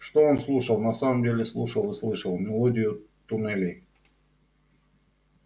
что он слушал на самом деле слушал и слышал мелодию туннелей